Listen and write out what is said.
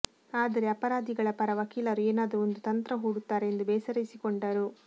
ಆದರೆ ಅಪರಾಧಿಗಳ ಪರ ವಕೀಲರು ಏನಾದರೂ ಒಂದು ತಂತ್ರ ಹೂಡುತ್ತಾರೆ ಎಂದು ಬೇಸರಿಸಿಕೊಂಡರು